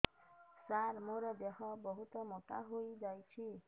ସାର ମୋର ଦେହ ବହୁତ ମୋଟା ହୋଇଯାଉଛି